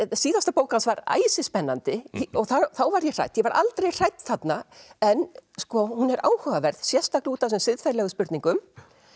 síðasta bók hans var æsispennandi og þá var ég hrædd ég var aldrei hrædd þarna en hún er áhugaverð sérstaklega út af þessum siðferðilegu spurningum